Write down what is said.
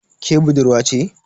Ke budurwa ce?